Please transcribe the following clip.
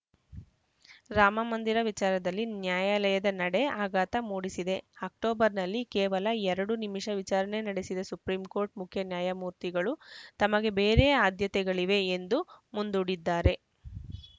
ರಾಮಮಂದಿರ ವಿಚಾರದಲ್ಲಿ ನ್ಯಾಯಾಲಯದ ನಡೆ ಆಘಾತ ಮೂಡಿಸಿದೆ ಅಕ್ಟೋಬರ್‌ನಲ್ಲಿ ಕೇವಲ ಎರಡು ನಿಮಿಷ ವಿಚಾರಣೆ ನಡೆಸಿದ ಸುಪ್ರೀಂಕೋರ್ಟ್‌ ಮುಖ್ಯ ನ್ಯಾಯಮೂರ್ತಿಗಳು ತಮಗೆ ಬೇರೆ ಆದ್ಯತೆಗಳಿವೆ ಎಂದು ಮುಂದೂಡಿದ್ದಾರೆ